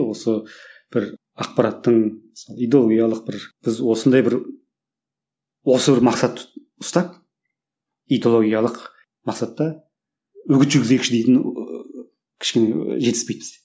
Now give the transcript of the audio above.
осы бір ақпараттың идеологиялық бір біз осындай бір осы бір мақсатты ұстап идеологиялық мақсатта үгіт жүргізейікші дейтін ыыы кішкене жетіспейді бізде